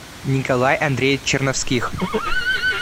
николай андреевич черновских